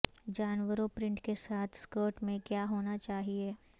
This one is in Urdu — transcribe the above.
جانوروں پرنٹ کے ساتھ سکرٹ میں کیا ہونا چاہئے